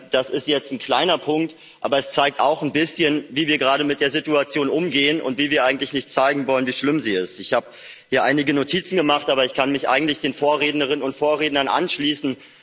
Das ist jetzt ein kleiner Punkt, aber es zeigt auch ein bisschen, wie wir gerade mit der Situation umgehen und dass wir eigentlich nicht zeigen wollen, wie schlimm sie ist. Ich habe mir hier einige Notizen gemacht, aber ich kann mich eigentlich den Vorrednerinnen und Vorrednern anschließen.